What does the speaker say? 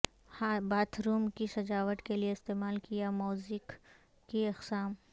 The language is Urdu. باتھ روم کی سجاوٹ کے لئے استعمال کیا موزیک کی اقسام